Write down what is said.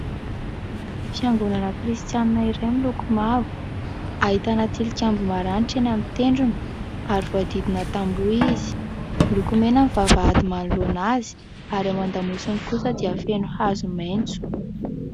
Fiangonana Kristianina iray miloko mavo, ahitana tilikambo maranitra eny amin'ny tendrony ary voahodidina tamboho izy, miloko mena ny vavahady manoloana azy ary ao an-damosiny kosa dia feno hazo maitso.